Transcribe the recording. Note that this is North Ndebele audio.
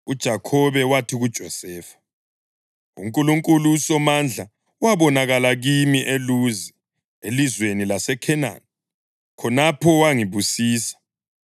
UJakhobe wathi kuJosefa, “UNkulunkulu uSomandla wabonakala kimi eLuzi elizweni laseKhenani, khonapho wangibusisa.